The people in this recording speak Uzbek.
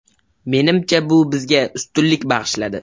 Menimcha bu bizga ustunlik bag‘ishladi.